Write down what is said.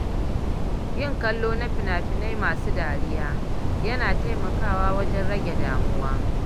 Yin kallo na fina-finai masu dariya yana taimakawa wajen rage damuwa.